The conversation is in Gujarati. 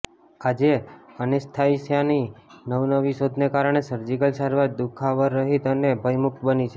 આજે એનેસ્થેસિયાની નવીનવી શોધોને કારણે સર્જીકલ સારવાર દુખાવરહિત અને ભયમુકત બની છે